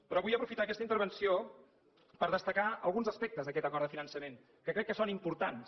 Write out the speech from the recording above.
però vull aprofitar aquesta intervenció per destacar alguns aspectes d’aquest acord de finançament que crec que són importants